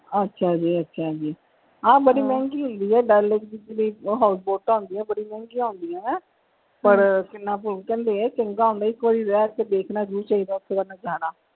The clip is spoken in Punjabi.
ਅੱਛਾ ਜੀ ਅੱਛਾ ਜੀ ਹਾਂ ਬੜੀ ਮਹਿੰਗੀ ਹੋਈ ਹੋਈ ਆ ਡੱਲ ਲੇਕ ਦੀ ਜਿਹੜੀ house boat ਹੁੰਦੀ ਆ ਬੜੀ ਮਹਿੰਗੀਆਂ ਹੁੰਦੀਆਂ ਨੇ ਪਰ ਇਕ ਵਾਰੀ ਰਹਿ ਕੇ ਦੇਖਣਾ ਜਰੂਰ ਚਾਹੀਦਾ ਹੈ ਓਥੇ ਜਿਹਨੇ ਜਾਣਾ।